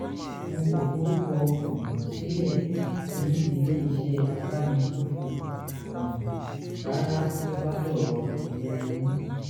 n kò forúkọ um sílẹ̀ ní ilé-iṣẹ́ abánigbófò um rárá tó bá dọ̀rọ̀ ìlera eyín